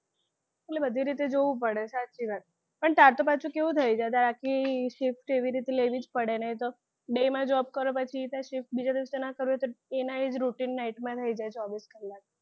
એટલે બધી રીતે જોવું પડે સાચી વાત પણ તાર તો પાછું કેવું થયું છે કે આખી shift એવી રીતે લેવી જ પડે નહિતો બેયમાં job કરો પછી એવી રીતના shift બીજા દિવસે ના કરવી હોય તો એના એ જ rutine night માં થઈ જાય ચોવીસકલાક